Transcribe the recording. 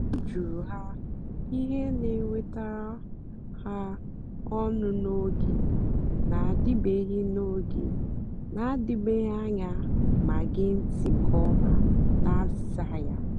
ọ jụ̀rù ha ihe na-èwètàra ha ọ́nụ́ n’ógè na-àdị̀bèghị́ n’ógè na-àdị̀bèghị́ anya mà gèè ntị́ nkè ọ̀ma na àzị́za ya.